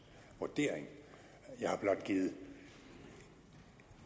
vurdering jeg har blot givet